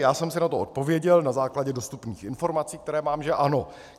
Já jsem si na to odpověděl na základě dostupných informací, které mám, že ano.